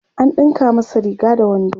an ɗinka masa Riga da wando